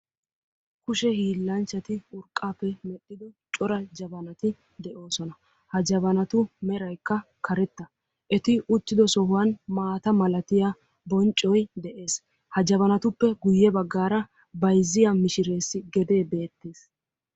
Kushe hiillanchchati urqqaappe medhdhido cora jabanati de'oosona. Ha jabanatu meraykka karetta. Eti uttido sohuwan maata malatiya bonccoy de'es. Ha jabanatuppe guyye baggaara bayizziya mishireessi gedee beettees.